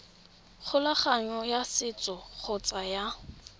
kgolagano ya setso kgotsa ya